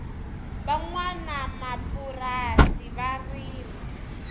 va nwanamapurasi va rima